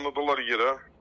Uzandırdılar yerə.